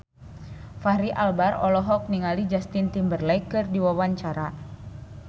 Fachri Albar olohok ningali Justin Timberlake keur diwawancara